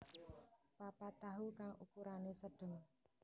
papat tahu kang ukurane sedeng